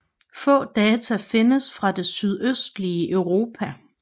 Få data findes fra det sydøstlige Europa